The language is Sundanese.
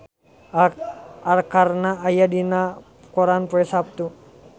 Arkarna aya dina koran poe Saptu